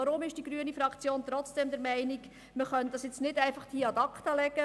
Warum ist die grüne Fraktion trotzdem der Meinung, man könne das jetzt nicht einfach ad acta legen.